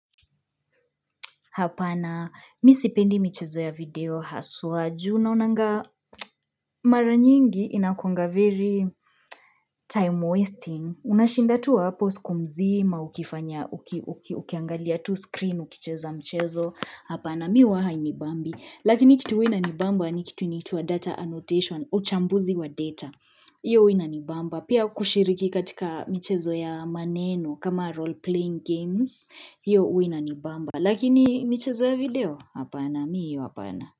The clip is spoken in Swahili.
Hapana, mimi sipendi michezo ya video, haswa juu, naonanga mara nyingi inakuanga very time wasting, unashinda tuwa hapo siku mzima, ukifanya, ukiangalia tu screen, ukicheza mchezo, hapana miwa hainibambi, lakini kitu huwa ina nibamba ni kitu inaitwa data annotation, uchambuzi wa data, hiyo wina nibamba, pia kushiriki katika mchezo ya maneno kama role playing games, hiyo huwina nibamba, lakini mchezo ya video? Hapana miyo hapana.